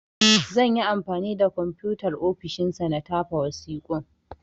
Zan yi anfani da Komfutar ofishin sa na tafa wasiƙun.